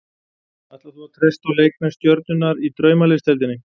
Ætlar þú að treysta á leikmenn stjörnunnar í Draumaliðsdeildinni?